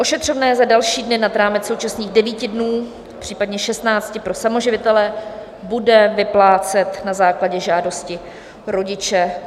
Ošetřovné za další dny nad rámec současných 9 dnů, případně 16 pro samoživitele, bude vyplácet na základě žádosti rodiče.